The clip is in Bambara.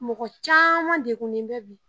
Mɔgɔ caman dekunnen bɛ bi.